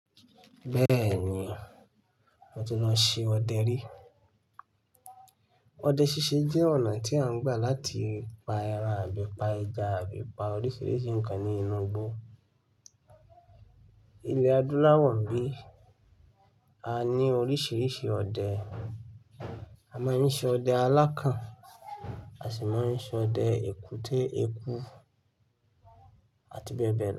Bẹ́ẹ̀ni, mo ti lọ ṣe ọdẹ rí. Ọdẹ ṣíṣe jẹ́ ọ̀nà tí a ń gbà láti pa ẹran àbí pa ẹja àbí pa oríṣiríṣi nǹkan ní inú igbó. Ilẹ̀ Adúláwọ̀ ńbí, a ní oríṣiríṣi ọdẹ. A máa ń ṣe ọdẹ alákàn, a sì máa ń ṣe ọdẹ èkúté eku àti bẹ́ẹ̀ bẹ́ẹ̀ lọ.